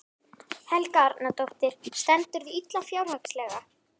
Helga Arnardóttir: Stendurðu illa fjárhagslega?